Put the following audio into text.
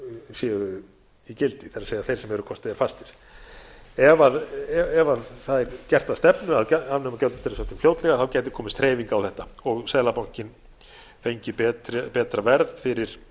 séu í gildi það er þeir sem eru hvort eð er fastir ef það er gert að stefnu að afnema gjaldeyrishöftin fljótlega þá gæti komist hreyfing á þetta og seðlabankinn fengið betra verð fyrir